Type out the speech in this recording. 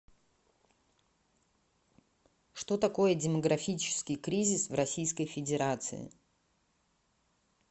что такое демографический кризис в российской федерации